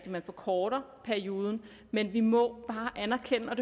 at man forkorter perioden men vi må bare anerkende og